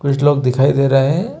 कुछ लोग दिखाई दे रहे है।